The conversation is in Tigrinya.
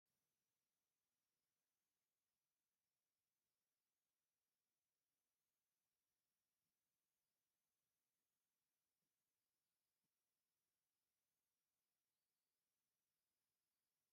እዚ ሓንቲ ናይ ጓል ፍኹስ ዝበለ ግራጭ ጫማ ኣብ ቅድሚት ቀይሕን ብጫን ቢቫ ሌየር ዘለዎ ይረአ ኣሎ። ኣብ ውሽጢ ድማ ዝተፈላለየ ሕብሪ ዘለዎም ንኣሽቱ ዕምበባታት ይረኣዩ ኣለው።